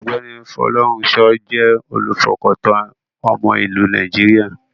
Ọ̀gbẹ́ni Folorunsho jẹ́ olùfọkàntán ọmọ ìlú Nàìjíríà.